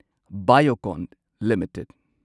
Biocon limited